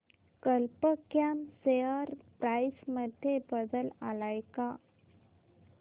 कल्प कॉम share price मध्ये बदल आलाय का